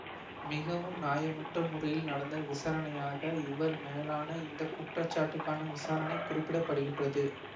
மிகவும் நியாயமற்ற முறையில் நடந்த விசரணையாக இவர் மேலான இந்த குற்றச்சாட்டுக்கான விசாரணை குறிப்பிட படுகின்றது